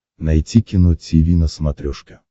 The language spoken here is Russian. найти кино тиви на смотрешке